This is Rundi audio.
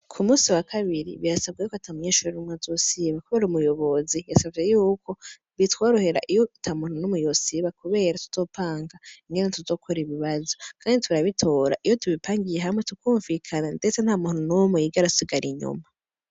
Ku munsi wa kabiri, birasabwe y'uko ata munyeshure n'umwe azosiba, kubera umuyobozi yasavye y'uko, bitworohera iyo ata muntu n'umwe yosiba, kubera tuzopanga ingene tuzokora ibibazo; kandi turabitora iyo tubipangiye hamwe, tukumvikana, ndetse nta muntu n'umwe yigera asigara inyuma.